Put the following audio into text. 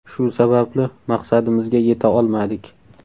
Shu sababli maqsadimizga yeta olmadik.